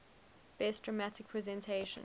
best dramatic presentation